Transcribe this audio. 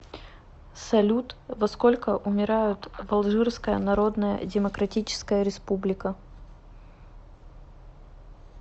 салют во сколько умирают в алжирская народная демократическая республика